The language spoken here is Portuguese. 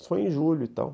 Isso foi em julho, então.